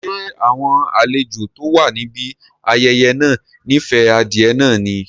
Ṣé àwọn àlejò tó wà níbi ayẹyẹ náà nife adìẹ náà ni?